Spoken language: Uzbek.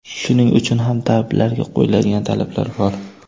Shuning uchun ham tabiblarga qo‘yiladigan talablar bor.